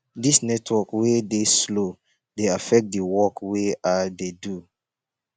dis network wey dey slow dey affect di work wey i dey do